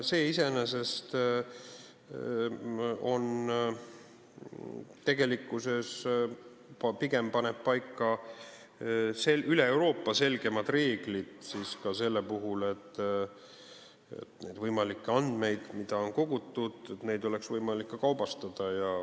See iseenesest paneb üle Euroopa pigem paika selgemad reeglid ka selleks puhuks, et neid andmeid, mida on kogutud, oleks võimalik kaubastada.